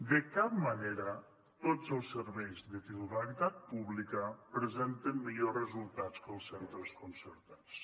de cap manera tots els serveis de titularitat pública presenten millors resultats que els centres concertats